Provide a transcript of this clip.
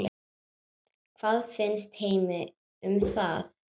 Hvað finnst Heimi um það?